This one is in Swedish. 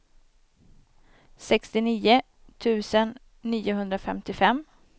sextionio tusen niohundrafemtiofem